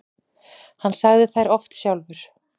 Hann sagði þær oft sjálfur.